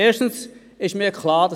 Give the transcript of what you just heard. Erstens – das ist mir klar;